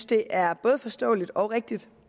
det er både forståeligt og rigtigt